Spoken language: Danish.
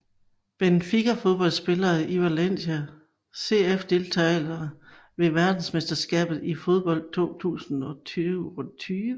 Benfica Fodboldspillere fra Valencia CF Deltagere ved verdensmesterskabet i fodbold 2022